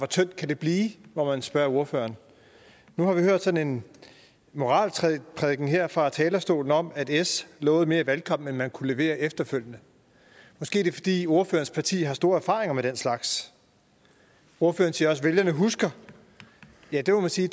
tyndt kan det blive må man spørge ordføreren nu har vi hørt sådan en moralprædiken her fra talerstolen om at s lovede mere i valgkampen end man kunne levere efterfølgende måske er det fordi ordførerens parti har store erfaringer med den slags ordføreren siger også at vælgerne husker ja det må man sige